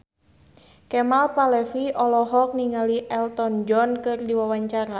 Kemal Palevi olohok ningali Elton John keur diwawancara